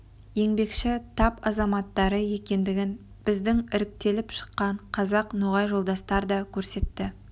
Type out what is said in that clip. еңбекші тап азаматтары екендігін біздің іріктеліп шыққан қазақ-ноғай жолдастар да көрсетті